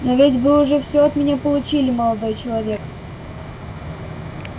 но ведь вы уже все от меня получили молодой человек